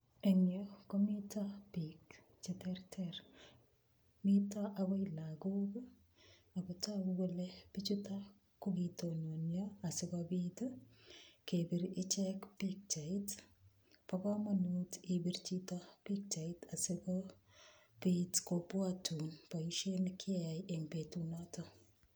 Eng' yu komito biik cheterter mito agoi lagok akotoku kole bichutok kokitononio asikobit kepir ichek pikchait bo komonut ipir chito pikchait sikobit kobwotun boishet nekiyeai eng' betunoto